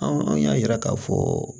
An y'a yira k'a fɔ